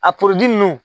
A nunnu